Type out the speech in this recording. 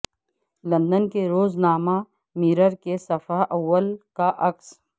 London کے روز نامہ مرر کے صفحہ اول کا عکس